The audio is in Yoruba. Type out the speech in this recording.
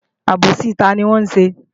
Àbòsí tani wọn ṣe?